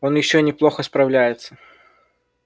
он ещё неплохо справляется